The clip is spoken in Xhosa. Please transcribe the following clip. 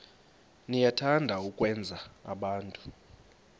niyathanda ukwenza abantu